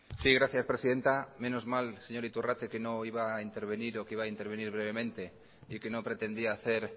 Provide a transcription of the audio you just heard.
sí gracias presidenta menos mal señor iturrate que no iba a intervenir o que iba a intervenir brevemente y que no pretendía hacer